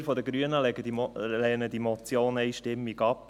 Wir von den Grünen lehnen die Motion einstimmig ab.